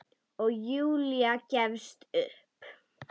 Og Júlía gefst upp.